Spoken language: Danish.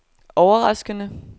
overraskende